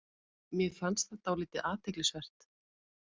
Mér fannst það dálítið athyglisvert